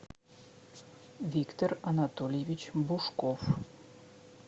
виктор анатольевич бушков